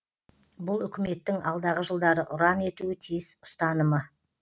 бұл үкіметтің алдағы жылдары ұран етуі тиіс ұстанымы